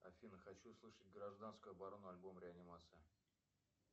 афина хочу услышать гражданскую оборону альбом реанимация